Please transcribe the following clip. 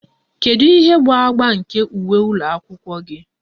Kedu ihe bụ agba nke uwe ụlọ akwụkwọ gị?